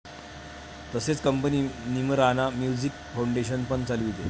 तसेच company 'Neemrana music foundation' पण चालविते.